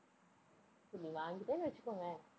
இப்ப நீ வாங்கிட்டேன்னு வச்சுக்கோவேன்